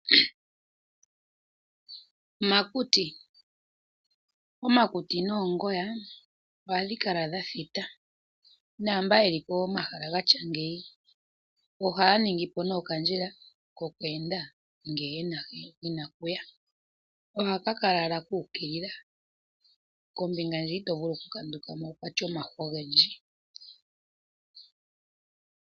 Omakuti noongoya ohadhi kala dhathita, naamboka yeli pomahala gatya gawo ohaya ningi po okandjila kokweenda ngele yena ohaka lala kuukilila kombinga hiya ito culu okukanduka mo okuna omahwa ogendji.